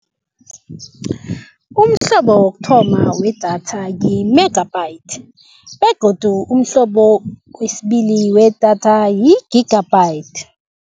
Umhlobo wokuthoma wedatha yi-megabytes begodu umhlobo wesibili wedatha yi-gigabytes.